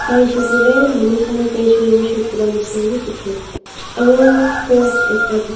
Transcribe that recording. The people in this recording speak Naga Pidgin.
saisey koiley manu khan praise worship kura neshina vi dekhi ase aru cross--